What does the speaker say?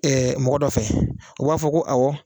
mɔgɔ dɔ fɛ u b'a fɔ ko awɔ